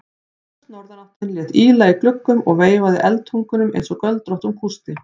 Hvöss norðanáttin lét ýla í gluggum og veifaði eldtungunum einsog göldróttum kústi.